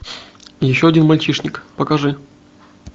еще один мальчишник покажи